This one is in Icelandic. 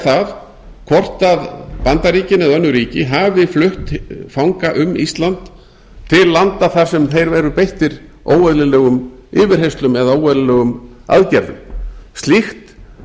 það hvort bandaríkin eða önnur ríki hafi flutt fanga um ísland til landa þar sem þeir eru beittir óeðlilegum yfirheyrslum eða óeðlilegum aðgerðum slíkt